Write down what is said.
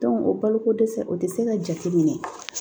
o baloko dɛsɛ o tɛ se ka jate minɛ